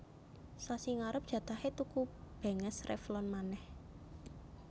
Sasi ngarep jatahe tuku benges Revlon maneh